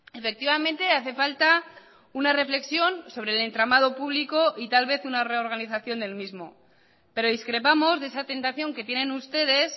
efectivamente hace falta una reflexión sobre el entramado público y tal vez una reorganización del mismo pero discrepamos de esa tentación que tienen ustedes